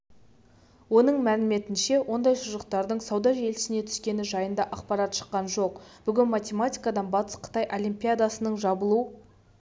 оның мәліметінше ондай шұжықтардың сауда желісіне түскені жайында ақпарат шыққан жоқ бүгін математикадан батыс-қытай олимпиадасының жабылу